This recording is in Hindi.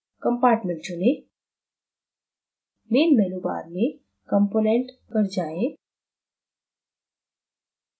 compartment चुनें main menu bar में component पर जाएँ